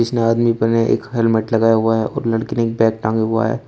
ने आदमी एक हेलमेट लगाया हुआ है और लड़की ने एक बैग टांगा हुआ है।